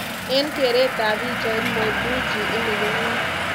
En keret ab pichait, Mo Dewji ini ko ngo?